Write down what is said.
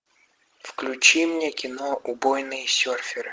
включи мне кино убойные серферы